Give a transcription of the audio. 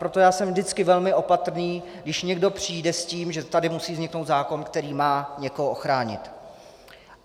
Proto já jsem vždycky velmi opatrný, když někdo přijde s tím, že tady musí vzniknout zákon, který má někoho ochránit.